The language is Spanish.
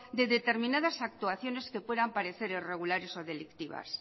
de determinadas actuaciones que puedan parecer irregulares o delictivas